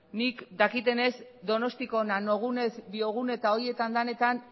nik dakidanez donostiako nanogune biogune eta horietan denetan